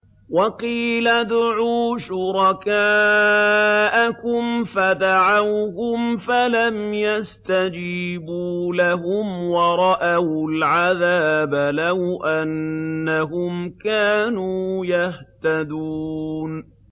وَقِيلَ ادْعُوا شُرَكَاءَكُمْ فَدَعَوْهُمْ فَلَمْ يَسْتَجِيبُوا لَهُمْ وَرَأَوُا الْعَذَابَ ۚ لَوْ أَنَّهُمْ كَانُوا يَهْتَدُونَ